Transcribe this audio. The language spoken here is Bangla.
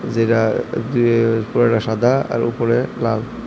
যে যায় যে উপরেরটা সাদা আর উপরে লাল।